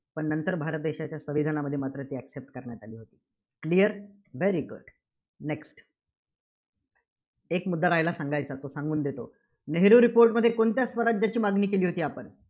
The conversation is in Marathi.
पण नंतर भारत देशाच्या संविधानामध्ये मात्र त्या accept करण्यात आली होती. Clear? very good next एक मुद्दा राहिला सांगायचा. तो सांगून देतो. नेहरू report मध्ये कोणत्या स्वराज्याची मागणी केली होती आपण?